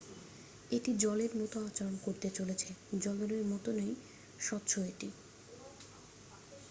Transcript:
"""এটি জলের মতো আচরণ করতে চলেছে। জলেরর মতই স্বচ্ছ এটি।